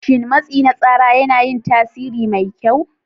Shin matsi na tsara yana yin tasiri mai kyau.